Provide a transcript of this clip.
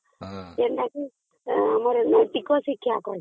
ଯୋଉଟାକୁ ଆମର ନୈତିକ ଶିକ୍ଷା କହିବା